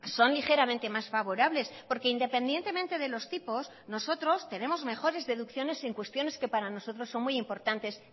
son ligeramente más favorables porque independientemente de los tipos nosotros tenemos mejores deducciones en cuestiones que para nosotros son muy importantes